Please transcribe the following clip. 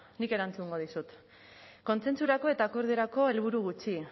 nik erantzungo dizut kontsentsurako eta akordiorako helburu gutxi